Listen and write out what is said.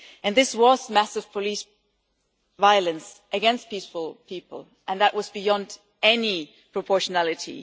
This was massive police violence against peaceful people, and that was beyond any proportionality.